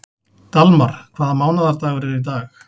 Dalmar, hvaða mánaðardagur er í dag?